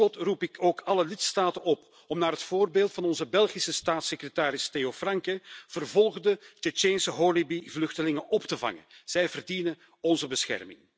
Tot slot roep ik ook alle lidstaten op om naar het voorbeeld van onze Belgische staatssecretaris Theo Francken vervolgde Tsjetsjeense holebi vluchtelingen op te vangen. Zij verdienen onze bescherming.